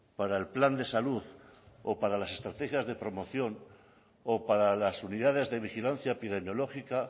para el plan de salud o para las estrategias de promoción o para las unidades de vigilancia epidemiológica